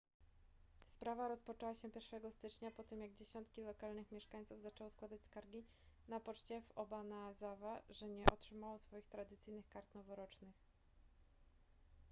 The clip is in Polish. sprawa rozpoczęła się 1 stycznia po tym jak dziesiątki lokalnych mieszkańców zaczęło składać skargi na poczcie w obanazawa że nie otrzymało swoich tradycyjnych kart noworocznych